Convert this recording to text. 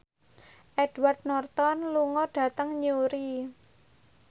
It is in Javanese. Edward Norton lunga dhateng Newry